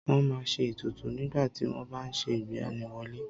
Wọ́n má a n se ètùtù nígbàtí wọ́n bá n se ìgbaniwọlé